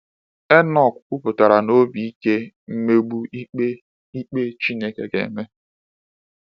Enọk kwupụtara na obi ike mmegbu ikpe ikpe Chineke ga-eme.